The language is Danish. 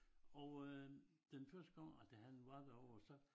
Og øh den første gang at han var derovre så